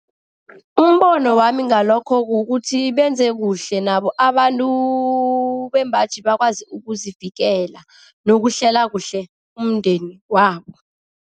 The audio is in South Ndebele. Umbono wami ngalokho kukuthi, benze kuhle nabo abantu bembaji bakwazi ukuzivikela nokuhlela kuhle umndeni wabo.